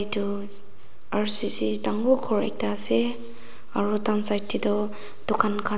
etu R_C_C dangor ghor ektu ase aru dukan side te toh dukan khan--